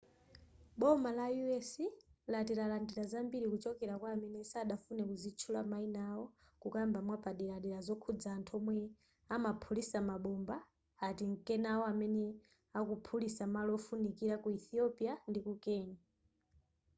boma la u.s. lati lalandira zambiri kuchokera kwa amene sadafune kuzitchula mayina awo kukamba mwapaderadera zokhuza anthu omwe amaphulitsa mabomba atinkenawo amene akukaphulitsa malo ofunikira ku ethiopia ndiku kenya